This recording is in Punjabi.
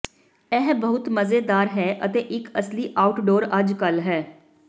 ਇਹ ਬਹੁਤ ਮਜ਼ੇਦਾਰ ਹੈ ਅਤੇ ਇੱਕ ਅਸਲੀ ਆਊਟਡੋਰ ਅਜਕਲ ਹੈ